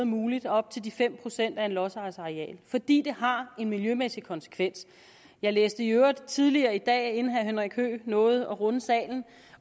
muligt og op til de fem procent af lodsejerens areal fordi det har en miljømæssig konsekvens jeg læste i øvrigt tidligere i dag inden herre henrik høegh nåede at runde salen